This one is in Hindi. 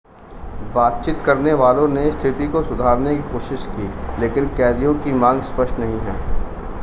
बातचीत करने वालों ने स्थिति को सुधारने की कोशिश की लेकिन कैदियों की मांग स्पष्ट नहीं है